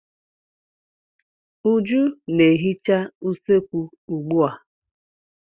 Uju na-ehica usekwu ugbua.